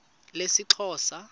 lesixhosa